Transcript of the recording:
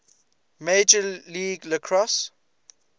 major league lacrosse